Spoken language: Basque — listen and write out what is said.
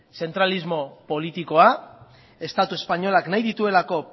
zentralismo politikoa estatu espainolak nahi dituelako